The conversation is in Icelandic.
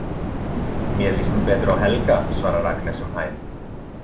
Mér líst nú betur á Helga, svarar Agnes um hæl.